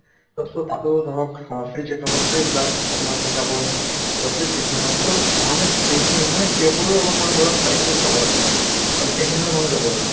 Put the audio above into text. তʼ so তাতো ধৰক আহ free checkup ৰ free blood আপোনাৰ checkup হয় আৰু free treatment হয় so মানুহে সেই খিনি মানে সেইবোৰো অলপ মানে ধৰক ফায়্দা টো উঠাব লাগে। আৰু সেই খিনিলৈ মানুহ যাব লাগে।